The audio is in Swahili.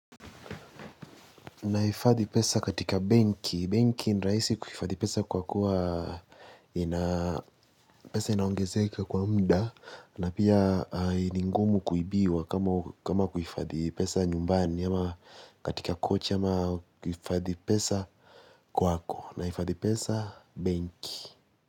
Nahifadhi pesa katika benki. Benki ni rahisi aisi kuhifadhi pesa kwa kuwa ina pesa inaongezeka kwa muda na pia ni ngumu kuibiwa kama kuhifadhi pesa nyumbani ama katika coach ama kuhifadhi pesa kwako. Naifadhi pesa benki.